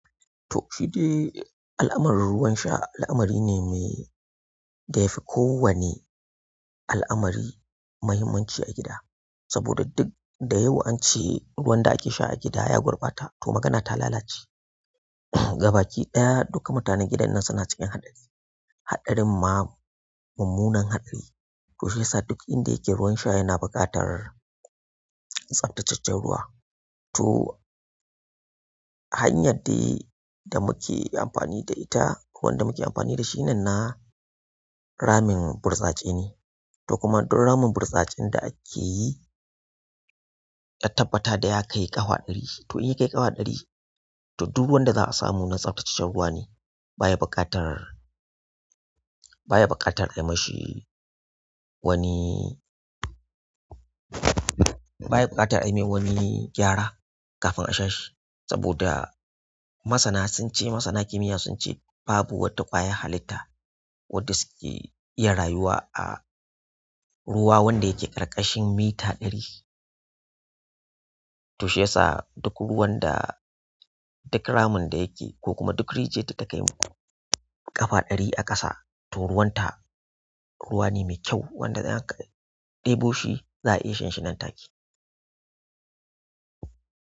To shi dai al'amarin ruwan sha al'amari ne mai-- da ya fi kowane al'amari muhimmanci a gida. Saboda duk da yawa an ce ruwan da ake sha a gida ya gurɓata to magana ta lalace. Gabaki ɗaya duka mutanen gidan nan suna cikin haɗari. Haɗarin ma mummunan haɗari. To shiyasa duk inda yake ruwan sha yana buƙatar tsabtacaccen ruwa. To hanyar dai da muke amfani da ita, ko wanda muke amfani da shi nan na ramin burtsatse ne. To kuma duk ramin burtsatsen da ake yi, ka tabbata da ya kai ƙafa ɗari. To in ya kai ƙafa ɗari, to duk ruwan da za a samu nan tsaftaceccen ruwa ne baya buƙatar, bayi buƙatar a yi mashi wani, baya buƙatar ayi mai wani gyara kafin a sha shi saboda masana sun ce, masana kimiyya sun ce, babu wata ƙwayar halitta wacce suke iya rayuwa a ruwa wanda yake ƙarƙashin mita ɗari to shiyasa duk ruwan da, duk ramin da yake ko kuma duk rijiyar da ta kaimu ƙafa ɗari a ƙasa to ruwan ta ruwa ne mai kyau wanda idan aka ɗebo shi za a iya shan shi nan take.